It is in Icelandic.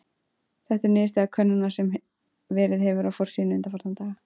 Þetta er niðurstaða könnunar sem verið hefur á forsíðunni undanfarna daga.